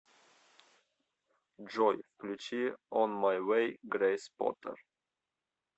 джой включи он май вэй грэйс поттер